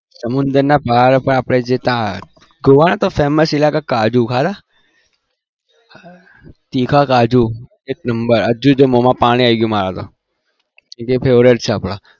સમુદ્રના પહાડો પર આપણે જે ત્યાં ગોવાના તો famous કાજુ ખાધા? તીખા કાજુ એક number હજુ જો મોમાં પાણી આવી ગયું મારા તો કેમ કે favourite છે આપણા